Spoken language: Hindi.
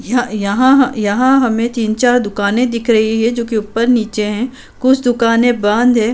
यह यहाँ हमे यहाँ हमे तीन चार दुकाने दिख रही है जोकि ऊपर नीचे है कुछ दुकाने बंद है।